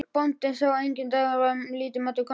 Bóndinn sá að enginn dagur var til máta konu hans.